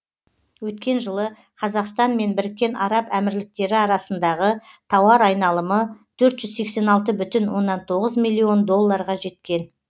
өткен жылы қазақстан мен біріккен араб әмірліктері арасындағы тауар айналымы төрт жүз сексен алты бүтін оннан тоғыз миллион долларға жеткен